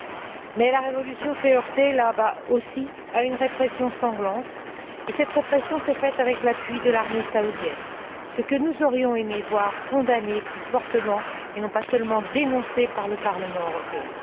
Mais, là bas aussi, la révolution s'est heurtée à une répression sanglante et cette répression s'est faite avec l'appui de l'armée saoudienne, ce que nous aurions aimé voir condamné plus fortement, et non pas seulement dénoncé par le Parlement européen.